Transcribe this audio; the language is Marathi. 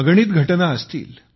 अगणित घटना असतील